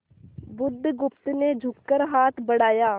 बुधगुप्त ने झुककर हाथ बढ़ाया